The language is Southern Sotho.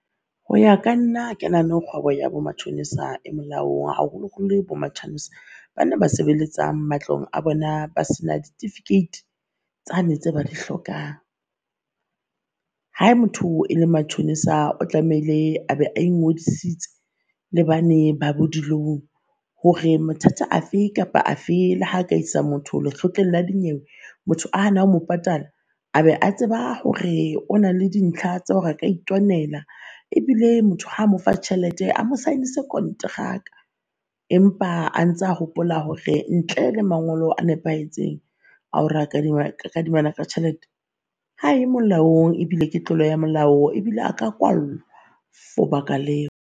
Ho ya ka nna ha ka nahane hore kgwebo ya bo matjhonisa e molaong haholo holo bo matjhanse, ba na ba sebeletsang matlong a bona ba sena ditifikeiti tsane tse ba di hlokang. Ha motho e le matjhonisa o tlamehile a be a ingodisitse le bane ba bo di-loan. Hore mathata afe kapa afe le ha ka isa motho lekgotleng la dinyewe motho a hana ho mo patala, a be a tseba hore o na le dintlha tsa hore a ka itwanela. Ebile motho ha mo fa tjhelete a mo saenise kontraka empa a ntsa a hopola hore ntle le mangolo a nepahetseng a hore a ka kadimana ka tjhelete ha e molaong, ebile ke tlolo ya molao ebile a ka kwallwa for baka leo.